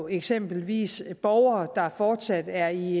eksempelvis borgere der fortsat er i